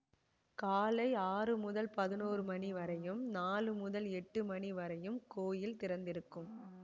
காலை ஆறு முதல் பதினொன்று மணி வரையும் நாழு முதல் எட்டு மணி வரையும் கோயில் திறந்திருக்கும்